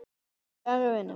Kæri vinur.